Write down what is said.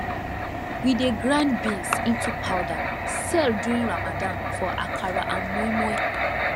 we dey grind beans into powder sell during ramadan for akara and moinmoin